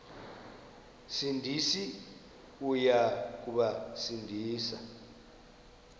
sindisi uya kubasindisa